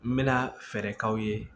N bɛna fɛɛrɛ k'aw ye